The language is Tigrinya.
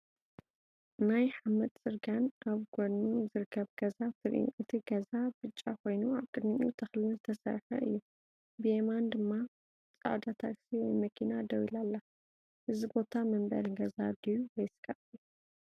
ናይ ሓመድ ጽርግያን ኣብ ጎድኑ ዝርከብ ገዛን ትርእዩ። እቲ ገዛ ብጫ ኮይኑ ኣብ ቅድሚኡ ተኽልን ዝተሰርሐ እዩ። ብየማን ድማ ጻዕዳ ታክሲ ወይ መኪና ደው ኢላ ኣላ። እዚ ቦታ መንበሪ ገዛ ድዩ ወይስ ካፌ?